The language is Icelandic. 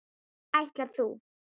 Ætlar þú.